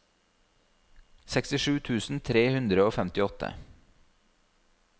sekstisju tusen tre hundre og femtiåtte